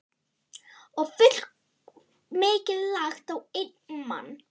Og fullmikið lagt á einn mann.